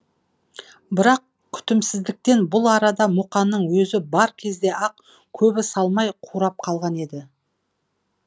бірақ күтімсіздіктен бұл арада мұқанның өзі бар кезде ақ көбі салмай қурап қалған еді